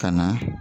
Ka na